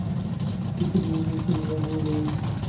इतने में संध्या हो गयी